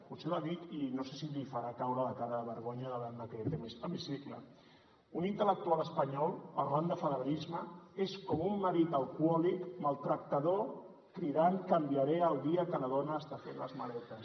potser li dic i no sé si li farà caure la cara de vergonya davant d’aquest hemicicle un intel·lectual espanyol parlant de federalisme és com un marit alcohòlic maltractador cridant canviaré el dia que la dona està fent les maletes